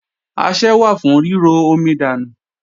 Asẹ́ wà fún ríro omi dànù.